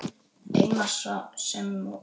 Eina sem hvarf.